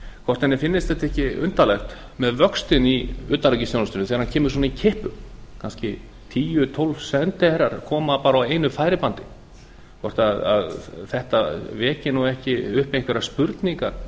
hvort henni finnist þetta ekki undarlegt með vöxtinn í utanríkisþjónustunni þegar hann kemur svona í kippum kannski tíu eða tólf sendiherrar koma bara á einu færibandi hvort þetta veki ekki upp einhverjar spurningar